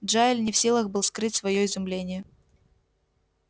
джаэль не в силах был скрыть своё изумление